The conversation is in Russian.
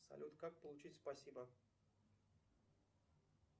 салют как получить спасибо